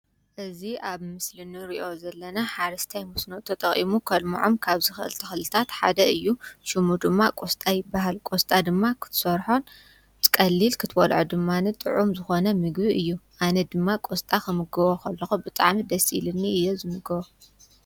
እዝ ኣብ ምስል ኒ ርእዮ ዘለና ሓርስታይ ምስኖቶ ጠቕሙ ከልምዖም ካብ ዝኽዝተኽልታት ሓደ እዩ ሹሙ ድማ ቈስጣይ በሃል ቈስጣ ድማ ኽትሰርሖን ትቀሊል ክትወልዖ ድማንን ጥዑም ዝኾነ ምግቢ እዩ ኣነ ድማ ቈስጣ ኸምግወ ኸለኹ ።ብጣዓም ደስኢልኒ እየ ዝምግወ